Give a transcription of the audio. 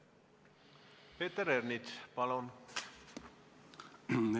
Peeter Ernits, palun!